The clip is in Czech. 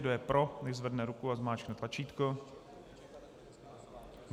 Kdo je pro, nechť zvedne ruku a zmáčkne tlačítko.